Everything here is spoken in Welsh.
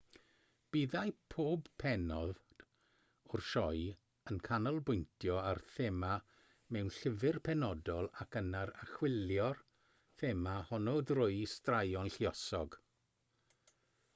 byddai pob pennod o'r sioe yn canolbwyntio ar thema mewn llyfr penodol ac yna'n archwilio'r thema honno drwy straeon lluosog